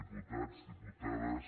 diputats diputades